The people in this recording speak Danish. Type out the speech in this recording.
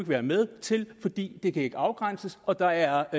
være med til fordi ikke kan afgrænses og der